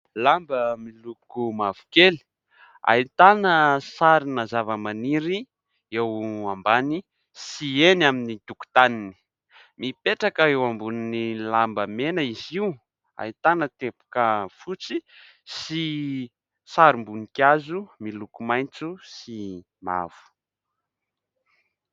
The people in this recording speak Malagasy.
Lamba miloko mavokely, ahitana sarina zavamaniry eo ambany sy eny amin'ny tokontaniny. Mipetraka eo ambonin'ny lamba mena izy io; ahitana teboka fotsy sy sarim-boninkazo miloko maitso sy mavo.